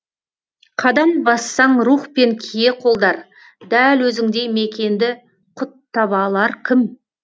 қадам бассаң рух пен кие қолдар дәл өзіңдей мекенді құт таба алар кім